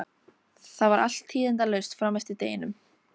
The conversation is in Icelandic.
Það var allt tíðindalaust fram eftir deginum.